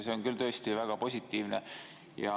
See on tõesti väga positiivne.